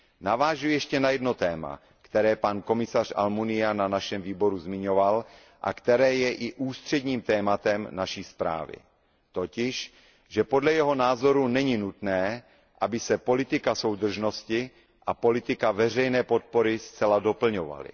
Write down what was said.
Navážu ještě na jedno téma, které pan komisař Almunia na našem výboru zmiňoval a které je i ústředním tématem naší zprávy, totiž, že podle jeho názoru není nutné, aby se politika soudržnosti a politika veřejné podpory zcela doplňovaly.